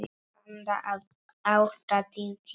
Handa átta til tíu